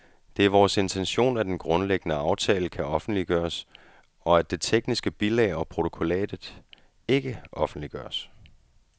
Det er vores intention, at den grundlæggende aftale kan offentliggøres, og at det tekniske bilag og protokollatet ikke offentliggøres.